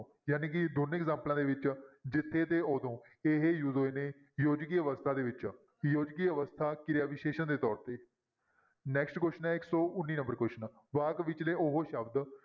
ਜਾਣੀ ਕਿ ਦੋਨੇਂ ਐਗਜਾਮਪਲਾਂ ਦੇ ਵਿੱਚ ਜਿੱਥੇ ਤੇ ਉਦੋਂ ਇਹ use ਹੋਏ ਨੇ ਯੋਜਕੀ ਅਵਸਥਾ ਦੇ ਵਿੱਚ, ਯੋਜਕੀ ਅਵਸਥਾ ਕਿਰਿਆ ਵਿਸ਼ੇਸ਼ਣ ਦੇ ਤੌਰ ਤੇ next question ਹੈ ਇੱਕ ਸੌ ਉੱਨੀ number question ਵਾਕ ਵਿੱਚਲੇ ਉਹ ਸ਼ਬਦ